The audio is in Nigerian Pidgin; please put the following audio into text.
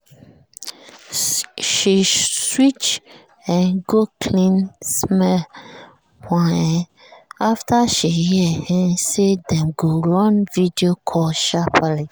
she switch um go clean-smell one um after she hear um say dem go run video call sharperly.